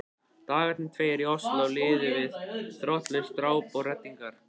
Dagarnir tveir í Osló liðu við þrotlaust ráp og reddingar.